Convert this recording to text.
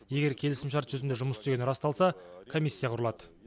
егер келісімшарт жүзінде жұмыс істегені расталса комиссия құрылады